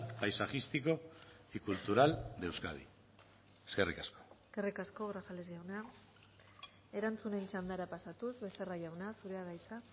paisajístico y cultural de euskadi eskerrik asko eskerrik asko grajales jauna erantzunen txandara pasatuz becerra jauna zurea da hitza